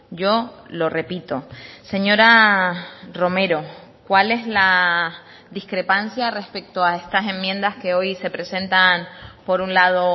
yo lo repito señora romero cuál es la discrepancia respecto a estas enmiendas que hoy se presentan por un lado